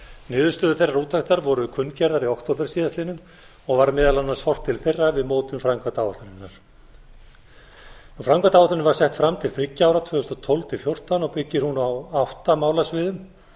niðurstöður þeirrar úttektar voru kunngerðar í október síðastliðinn og var meðal annars horft til þeirra við mótun framkvæmdaáætlunarinnar framkvæmdaáætlunin var sett fram til þriggja ára tvö þúsund og tólf til tvö þúsund og fjórtán og byggir hún á átta málasviðum